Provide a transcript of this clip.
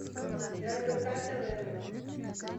рбк тв